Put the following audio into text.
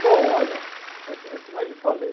Bom, olha, é é como eu lhe falei...